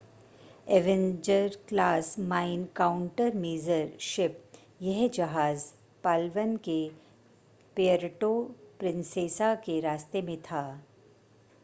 Avenger class mine countermeasure ship यह जहाज़ Palawan के प्यर्टो प्रिंसेसा के रास्ते में था